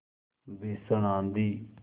भीषण आँधी